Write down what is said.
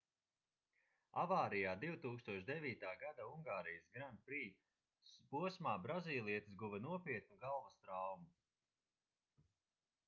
avārijā 2009. gada ungārijas grand prix posmā brazīlietis guva nopietnu galvas traumu